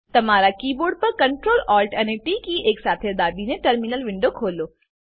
તમારા કીબોર્ડ પર Ctrl Alt અને ટી કી એકસાથે દાબીને ટર્મિનલ વિન્ડો ખોલો